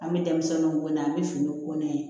An bɛ denmisɛnninw ko n'a ye an bɛ finiw ko n'a ye